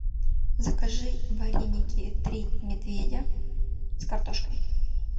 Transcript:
закажи вареники три медведя с картошкой